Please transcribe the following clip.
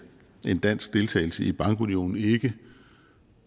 dansk deltagelse i bankunionen ikke